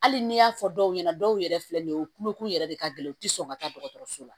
Hali ni y'a fɔ dɔw ɲɛna dɔw yɛrɛ filɛ nin ye o kulokun yɛrɛ de ka gɛlɛn u tɛ sɔn ka taa dɔgɔtɔrɔso la